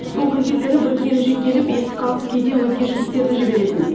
соңғы кездері бір келіншек келіп есік қағып кейде өзге жігіттерді жіберетін